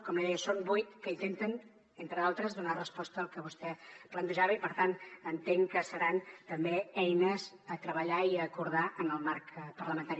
com li deia són vuit que intenten entre d’altres donar resposta al que vostè plantejava i per tant entenc que seran també eines a treballar i a acordar en el marc parlamentari